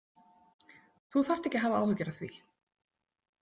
Þú þarft ekki að hafa áhyggjur af því.